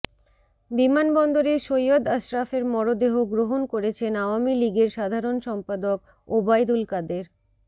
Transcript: বিমানবন্দরে সৈয়দ আশরাফের মরদেহ গ্রহন করেছেন আওয়ামী লীগের সাধারণ সম্পাদক ওবায়দুল কাদের